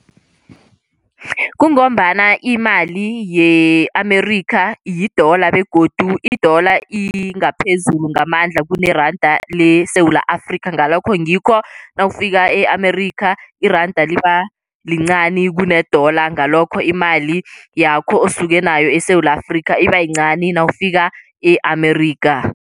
Kungombana imali ye-Amerikha yidola begodu idola ingaphezulu ngamandla kuneranda leSewula Afrikha. Ngalokho ngikho nawufika e-Amerikha iranda liba lincani kunedola ngalokho imali yakho osuke nayo eSewula Afrika ibayincani nawufika ye-Amerikha.